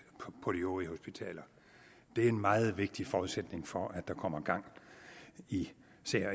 på de øvrige hospitaler det er en meget vigtig forudsætning for at der kommer gang i